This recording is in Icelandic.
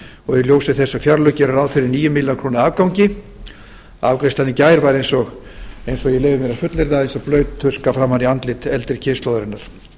og í ljósi þess að fjárlög gera ráð fyrir níu milljarða króna afgangi afgreiðslan í gær var leyfi ég mér að fullyrða eins og blaut tuska framan í andlit eldri kynslóðarinnar